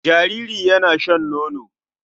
Jariri yana shan nono.